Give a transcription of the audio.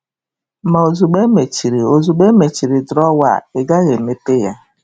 Ma ozugbo e mechiri ozugbo e mechiri drawer a, ị gaghị emepe ya.